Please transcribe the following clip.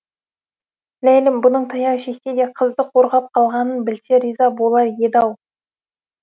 ләйлім бұның таяқ жесе де қызды қорғап қалғанын білсе риза болар еді ау